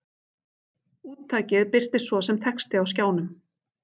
Úttakið birtist svo sem texti á skjánum.